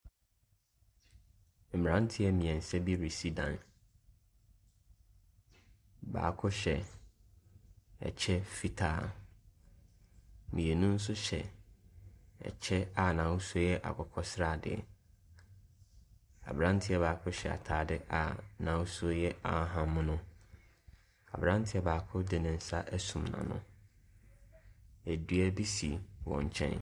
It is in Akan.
Mmranteɛ mmiɛnsa bi resi dan. Baako hyɛ ɛkyɛ fitaa. Mmienu nso hyɛ ɛkyɛ a n'ahosuo yɛ akokɔsrade. Abranteɛ baako hyɛ ataade a n'ahosuo yɛ ahahammono. Abranteɛ baako de ne nsa esum n'ano. Adua bi si wɔn nkyɛn.